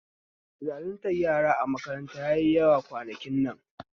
Zaluntar yara a makaranta yayi yawa kwanakin nan